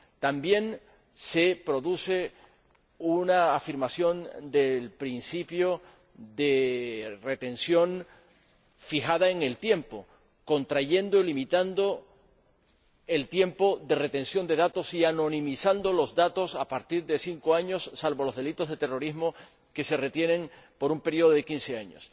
También se produce una afirmación del principio de retención, fijado en el tiempo, contrayendo y limitando el tiempo de retención de datos y dando carácter anónimo a los datos a partir de cinco años, salvo los delitos de terrorismo, que se retienen por un período de quince años.